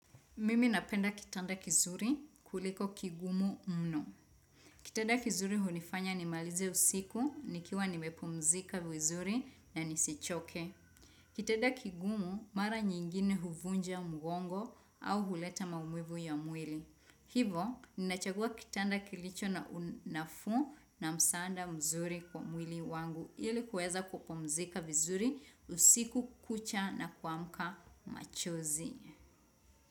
Mimi napenda kitanda kizuri kuliko kigumu mno. Kitanda kizuri hunifanya ni malize usiku nikiwa nimepumzika vizuri na nisichoke. Kitanda kigumu mara nyingine huvunja mgongo au huleta maumivu ya mwili. Hivo, ninachagua kitanda kilicho na unafuu na msanda mzuri kwa mwili wangu ilikuweza kupumzika vizuri usiku kucha na kuamka machozi.